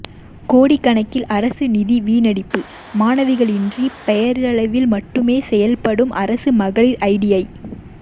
கோடிக்கணக்கில் அரசு நிதி வீணடிப்பு மாணவிகளின்றி பெயரளவில் மட்டுமே செயல்படும் அரசு மகளிர் ஐடிஐ